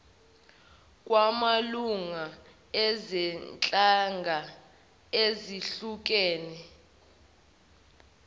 kwamalunga ezinhlanga ezehlukene